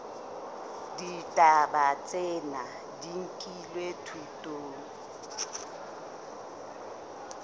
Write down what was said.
ditaba tsena di nkilwe thutong